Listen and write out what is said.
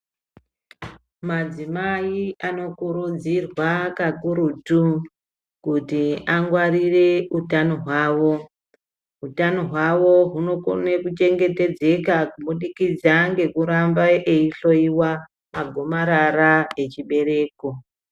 Madzimai anokurudzirwa kakurutu kuti angwarire utano hwavo. Utano hwavo hunokone kunochengetedzeka kubudikidza ngekuramba eihloiwa magomarara echibereko.